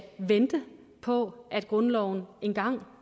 vente på at grundloven engang